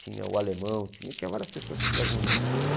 Tinha o Alemão, tinha tinha várias pessoas que traziam discos, né?